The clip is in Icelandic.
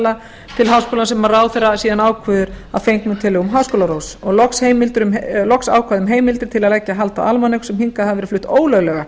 dagatala til háskólans sem ráðherra ákveður að fengnum tillögum háskólaráðs og loks ákvæði um heimildir til að leggja hald á almanök sem hingað hafa verið flutt ólöglega